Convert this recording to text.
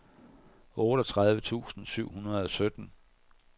otteogtredive tusind syv hundrede og sytten